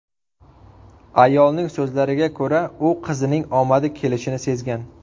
Ayolning so‘zlariga ko‘ra, u qizining omadi kelishini sezgan.